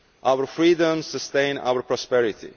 Our freedoms sustain our prosperity.